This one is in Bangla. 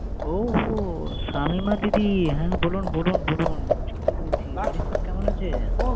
ওহো! শামিমা দিদি। হ্যাঁ বলুন বলুন বলুন। শুনতে পেরেছি। বাড়ির সব কেমন আছে?